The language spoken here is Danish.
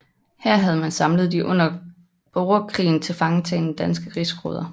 Her havde man samlet de under borgerkrigen tilfangetagne danske rigsråder